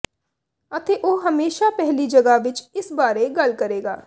ਅਤੇ ਉਹ ਹਮੇਸ਼ਾ ਪਹਿਲੀ ਜਗ੍ਹਾ ਵਿੱਚ ਇਸ ਬਾਰੇ ਗੱਲ ਕਰੇਗਾ